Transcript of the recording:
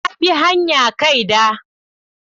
Na bi hanya kaida.